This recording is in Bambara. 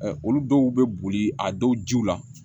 Olu dɔw bɛ boli a dɔw jiw la